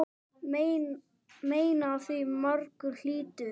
Mein af því margur hlýtur.